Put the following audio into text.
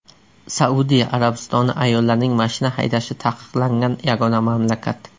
Saudiya Arabistoni ayollarning mashina haydashi taqiqlangan yagona mamlakat.